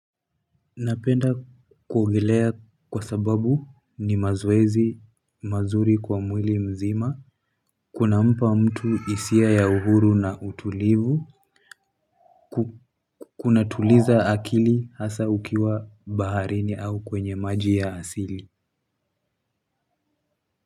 Napenda kuogelea kwa sababu ni mazoezi mazuri kwa mwili mzima. Kunampa mtu hisia ya uhuru na utulivu. Kunatuliza akili hasa ukiwa baharini au kwenye maji ya asili.